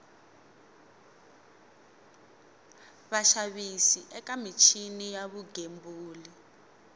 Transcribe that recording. vaxavis eka michini ya vugembuli